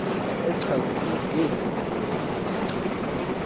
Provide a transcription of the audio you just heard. echazelwe ngeenguqulelo ezicetywayo